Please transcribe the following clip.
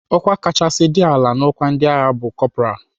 Ọkwa kachasị dị ala n'ọkwa ndị agha bụ kọpral.